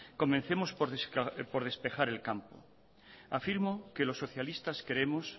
comencemos por despejar el campo afirmo que los socialistas creemos